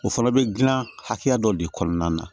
O fana bɛ dilan hakɛ dɔ de kɔnɔna na